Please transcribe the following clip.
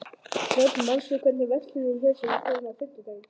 Dröfn, manstu hvað verslunin hét sem við fórum í á fimmtudaginn?